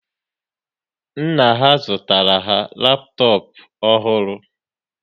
Nna ha zụtara ha laptop ọhụrụ